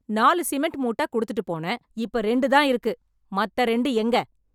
நாலு சிமெண்ட் மூட்ட கொடுத்துட்டு போனேன் இப்ப இரண்டு தான் இருக்கு மத்த இரண்டு எங்க